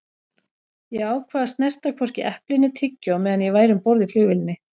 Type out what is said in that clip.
Ég ákvað að snerta hvorki epli né tyggjó meðan ég væri um borð í flugvélinni.